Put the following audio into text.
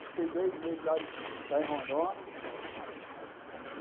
Fiquei dois meses lá lá em Rondônia.